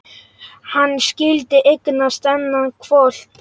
Hann skyldi eignast þennan hvolp!